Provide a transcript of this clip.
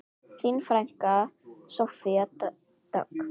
Þín frænka, Soffía Dögg.